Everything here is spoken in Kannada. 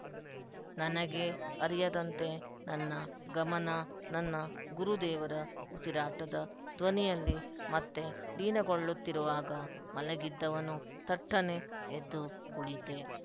ನನಗೇ ಅರಿಯದಂತೆ ನನ್ನ ಗಮನ ನನ್ನ ಗುರುದೇವರ ಉಸಿರಾಟದ ಧ್ವನಿಯಲ್ಲಿ ಮತ್ತೆ ಲೀನಗೊಳ್ಳುತ್ತಿರುವಾಗ ಮಲಗಿದ್ದವನು ಥಟ್ಟನೆ ಎದ್ದು ಕುಳಿತೆ